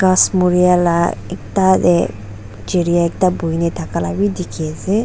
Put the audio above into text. kas murea la ekta tey jereya ekta buhe kena thake ya la beh dekhe ase.